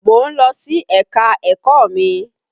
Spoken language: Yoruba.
Mò ń lọ sí ẹ̀ka-ẹ̀kọ́ mi.